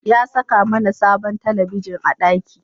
Ya saka mAna sabon talabigin a daki